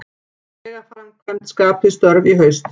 Vegaframkvæmd skapi störf í haust